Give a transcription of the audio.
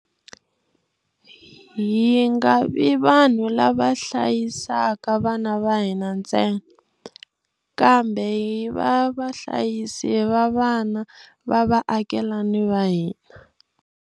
Hi nga vi vanhu lava hlayisaka vana va hina ntsena, kambe hi va vahlayisi va vana va vaakelani va hina.